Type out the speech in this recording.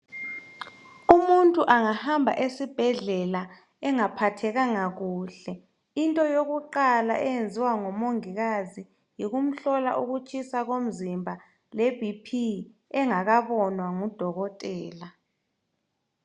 Umuntu angahamba esibhedlela engaphathekanga kuhle into yokuqala eyenziwa ngomongikazi yikumhlola ukutshisa komzimba lebhiphi ngudokotela